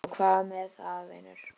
Og hvað með það, vinur?